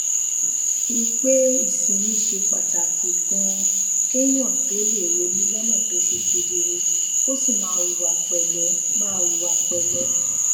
i pé ìsinmi ṣe pàtàkì ganan kéèyàn tó lè ronú lónà tó ṣe kedere kó sì máa hùwà pèlé máa hùwà pèlé